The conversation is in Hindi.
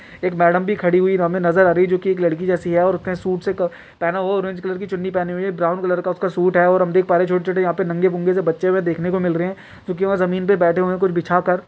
एक मैडम भी खडी हुई हमें नज़र आ रही हैंजो कि एक लड़की जैसी हैं और उसने सूट सेक पहना हुआ हैं ऑरेंज कलर की चुन्नी पहनी हुई हैं ब्राउन कलर का उसका सूट हैं और हम देख पा रहे हैं छोटे-छोटे यहाँ पे नंगे-पुंगे से बचे हमें देखने को मिल रहे हैं जो कि वह ज़मीन पर बैठे हैं कुछ बिछा कर--